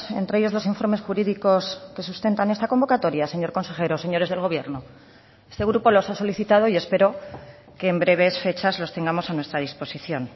entre ellos los informes jurídicos que sustentan esta convocatoria señor consejero señores del gobierno este grupo los ha solicitado y espero que en breves fechas los tengamos a nuestra disposición